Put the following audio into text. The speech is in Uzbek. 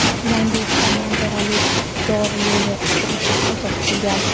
yana ikkita manzarali dor yo‘lini qurish ko‘zda tutilgan.